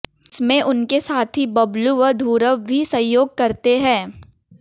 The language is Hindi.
इसमें उनके साथी बब्लू व धु्रव भी सहयोग करते हैं